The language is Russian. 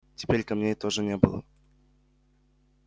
теперь камней тоже не было